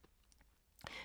DR2